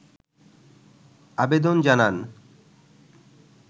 আবেদন জানান